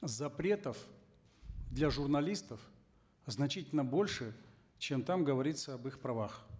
запретов для журналистов значительно больше чем там говорится об их правах